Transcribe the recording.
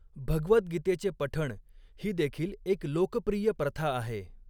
भगवद्गीतेचे पठण ही देखील एक लोकप्रिय प्रथा आहे.